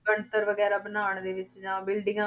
ਬਣਤਰ ਵਗ਼ੈਰਾ ਬਣਾਉਣ ਦੇ ਵਿੱਚ ਜਾਂ ਬਿਲਡਿੰਗਾਂ